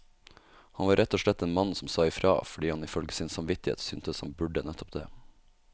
Han var rett og slett en mann som sa ifra, fordi han ifølge sin samvittighet syntes han burde nettopp det.